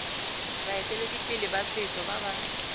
baeteledipele ba setso ba ba